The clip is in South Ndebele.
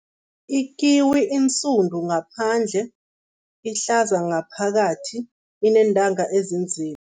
Ikiwi insudu ngaphandle, ihlaza ngaphakathi, ineentanga ezinzima.